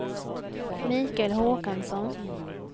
Michael Håkansson